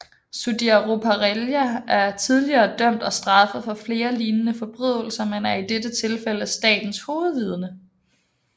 Sudhir Ruparelia er tidligere dømt og straffet for flere lignende forbrydelser men er i dette tilfælde statens hovedvidne